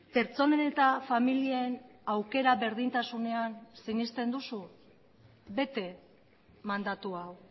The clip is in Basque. pertsonen eta familien aukera berdintasunean sinesten duzu bete mandatu hau